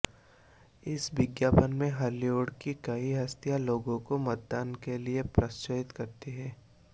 इस विज्ञापन में हॉलीवुड की कई हस्तियां लोगों को मतदान के लिए प्रोत्साहित करती हैं